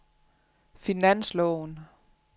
finansloven